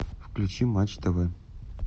включи матч тв